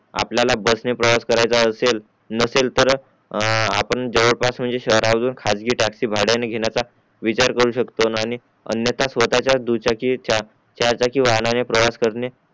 आपल्याला बस ने प्रवास करायचा असेल नसेल तर आ आपण जवळ पास म्हणजे शहरातून खासगी टॅक्सी भांड्यातून घेण्याचा विचार करू शकतो आणि अन्यथा स्वतःच्या दुचाकी च्या चार चाकी वाहनाने प्रवास करणे